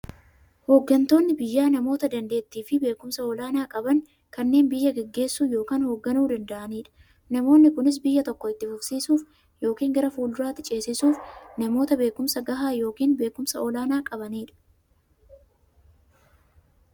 Hooggantoonni biyyaa namoota daanteettiifi beekumsa olaanaa qaban, kanneen biyya gaggeessuu yookiin hoogganuu danda'aniidha. Namoonni kunis, biyya tokko itti fufsiisuuf yookiin gara fuulduraatti ceesisuuf, namoota beekumsa gahaa yookiin beekumsa olaanaa qabaniidha.